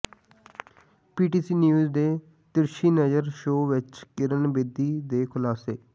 ਪੀ T C news ਦੇ Tirchhi Nazar show ਵਿਚ ਕਿਰਨ ਬੇਦੀ ਦੇ ਖ਼ੁਲਾਸੇ